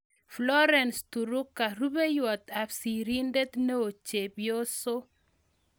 Florence Turuka-Rupeiywot ap sirindet neoo-Chepyoso